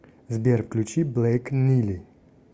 сбер включи блэйк нили